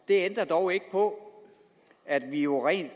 det ændrer dog ikke på at vi jo rent